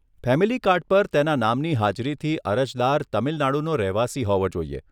Family card પર તેના નામની હાજરીથી અરજદાર તમિલનાડુનો રહેવાસી હોવો જોઈએ.